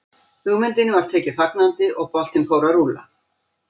Hugmyndinni var tekið fagnandi og boltinn fór að rúlla.